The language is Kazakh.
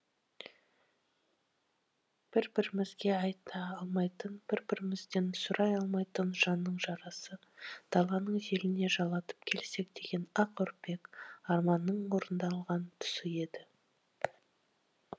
бір бірімізге айта алмайтын бір бірімізден сұрай алмайтын жанның жарасын даланың желіне жалатып келсек деген ақ үрпек арманның орындалған тұсы еді